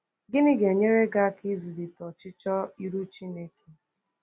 Gịnị ga-enyere gị aka ịzụlite ọchịchọ ịrụ Chineke?